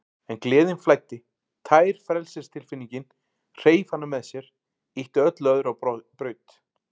En gleðin flæddi, tær frelsistilfinningin, hreif hana með sér, ýtti öllu öðru á braut.